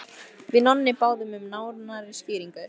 Við Nonni báðum um nánari skýringu.